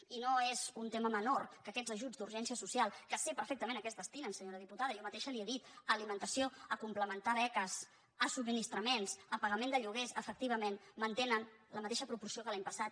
i no és un tema menor que aquests ajuts d’urgència social que sé perfectament a què es destinen senyora diputada jo mateixa li ho he dit a alimentació a complementar beques a subministra·ments a pagament de lloguers efectivament mante·nen la mateixa proporció que l’any passat